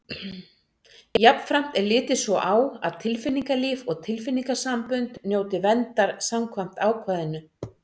Jafnframt er litið svo á að tilfinningalíf og tilfinningasambönd njóti verndar samkvæmt ákvæðinu.